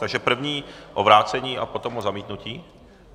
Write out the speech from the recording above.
Takže první o vrácení a potom o zamítnutí?